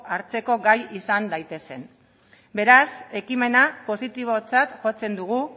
hartzeko gai izan daitezen beraz ekimena positibotzat jotzen dugu